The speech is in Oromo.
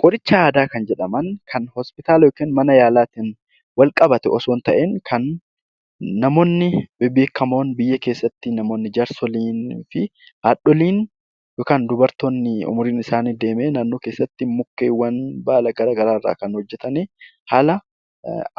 Qoricha aadaa kan jedhaman kan hospitaalaan wal qabatu osoo hin ta'iin namoonni bebbeekamoon biyya keessatti jaarsolii fi haadholiin yookiin dubartoonni umriin isaanii deemee naannoo keessatti mukkeewwaan baalota garaagaraa irraa kan hojjatan haala